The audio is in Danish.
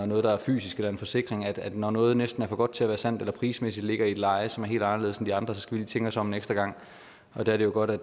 noget der er fysisk eller en forsikring at når noget næsten er for godt til at være sandt eller prismæssigt ligger i et leje som er helt anderledes end de andres skal vi lige tænke os om en ekstra gang der er det jo godt at